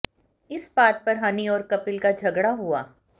इस बात पर हनी और कपिल का झगड़ा हुआ